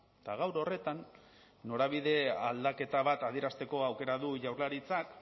eta gaur horretan norabide aldaketa bat adierazteko aukera du jaurlaritzak